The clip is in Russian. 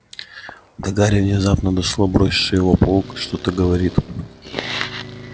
до гарри внезапно дошло бросивший его паук что-то говорит